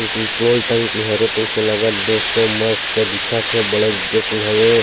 Petrol टंकी हरे तइसे लागत दोस्तों मस्त दिख थे बड़े जेकिन हवे।